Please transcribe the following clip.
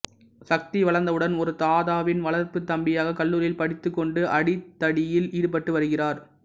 சக்தி வளர்ந்தவுடன் ஒரு தாதாவின் வளர்ப்புத் தம்பியாக கல்லூரியில் படித்துக் கொண்டு அடிதடியில் ஈடுபட்டு வருகிறார்